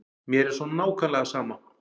Mér er svo nákvæmlega sama.